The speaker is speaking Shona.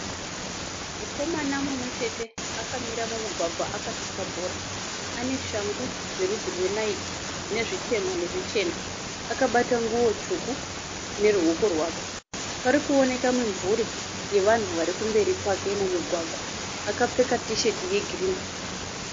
Mukomana mumwechete akamira mumugwagwa akatsika bhora. Ane shangu yerudzi rwenayiki inezvitema nezvichena. Akabata nguwo tsvuku nerwuoko rwake. Parikuoneka mimvuri yevanhu varimberi kwake mumugwagwa. Akapfeka tisheti yegirinhi.